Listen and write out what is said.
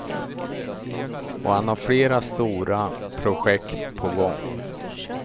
Och han har flera stora projekt på gång.